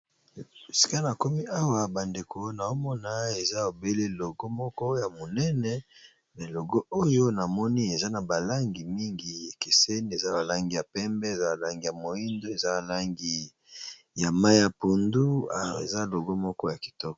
Esika na komi awa ba ndeko naomona eza obele logo moko ya monene me logo oyo na moni eza na ba langi mingi ekeseni eza ba langi ya pembe eza ba langi ya moindo eza langi ya mayi ya pundu eza logo moko ya kitoko.